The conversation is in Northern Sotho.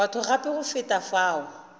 batho gape go feta fao